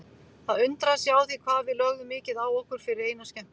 Það undraði sig á því hvað við lögðum mikið á okkur fyrir eina skemmtun.